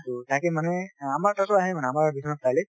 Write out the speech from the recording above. টো তাকে মানে আমাৰ তাতো আহে মানে আমাৰ বিশ্বনাথ চাৰিআলি ত